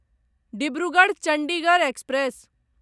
Dibrugarh Chandigarh express